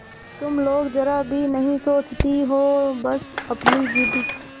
तुम लोग जरा भी नहीं सोचती हो बस अपनी जिद